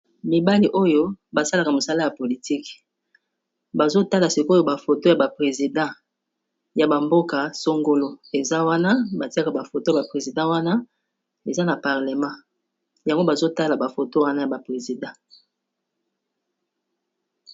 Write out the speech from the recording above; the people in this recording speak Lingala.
Mibali oyo basalaka mosala ya politike bazo tala sikoyo bafoto ya ba president ya ba mboka songolo eza wana batiaka ba foto ya ba president wana eza na parlement yango bazo tala ba foto wana ya ba president.